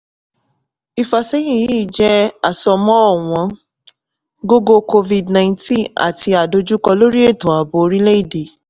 Ìfàsẹ́yìn yíì jẹ́ àsọmọ́ ọ̀wọ́ gógó covid nineteen àti àdojúkọ lórí ètò ààbò orílẹ̀-èdè